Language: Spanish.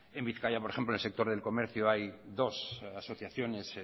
en bizkaia por ejemplo en el sector del comercio hay dos asociaciones